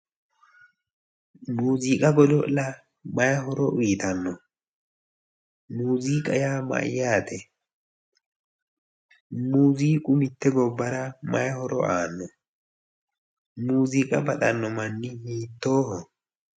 Muziiqa godo'la mayi horo uyitanno? miuziqa yaa Mayyaate? Muziiqu mitte gobbara mayi horo aano? muziiqa godo'lano manni hiitooho?